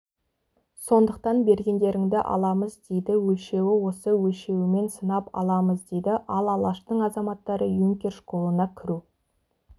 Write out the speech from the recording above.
сондықтан бергендеріңді аламыз дейді өлшеуі осы өлшеуімен сынап аламыз дейді ал алаштың азаматтары юнкер школына кіру